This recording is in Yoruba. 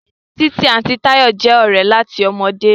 Titi àti Tayo jé òré láti ọmọdé.